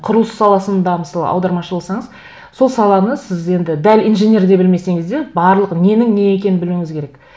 құрылыс саласында мысалы аудармашы болсаңыз сол саланы сіз енді дәл инженердей білмесеңіз де барлық ненің не екенін білуіңіз керек